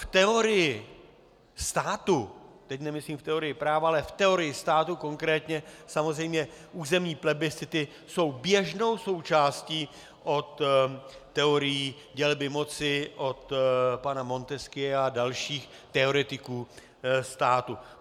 V teorii státu, teď nemyslím v teorii práva, ale v teorii státu konkrétně samozřejmě územní plebiscity jsou běžnou součástí od teorií dělby moci, od pana Montesquieua a dalších teoretiků státu.